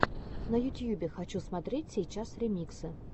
на ютьюбе хочу смотреть сейчас ремиксы